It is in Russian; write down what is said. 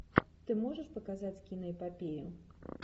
ты можешь показать киноэпопею